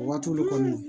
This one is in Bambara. Waati de kɔni